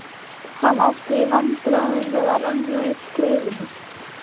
Hann átti í vandræðum með að renna upp klaufinni.